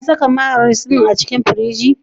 An saka mayones din a cikin firiji?